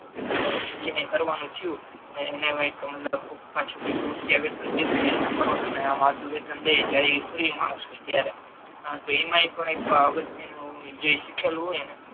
તો પછી એને કરવાનુ થયુ તો એને આવે મતલબ પાછુ કોઈ રૂપિયા દેતુ હોય કે આ કરો તમે આમ આટલુ વેતન દઈએ જ્યારે એ ફ્રી માણસ હોય ત્યારે હા અને એમાય તે અગત્ય નુ જે શીખેલુ હોય